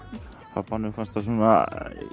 pabbanum fannst það svona